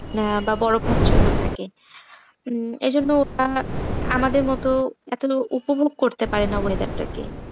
আহ বা বরফাছন্ন থাকে উম এজন্য আ~ আমাদের মত এত উপভোগ করতে পারেনা weather টাকে।